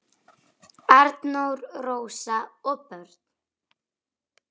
Arnór, Rósa og börn.